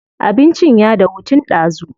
Abincin ya dahu tun ɗazu.